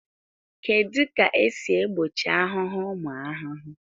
Kedu ka esi egbochi ahụhụ ụmụ ahụhụ